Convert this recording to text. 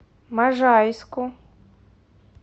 можайску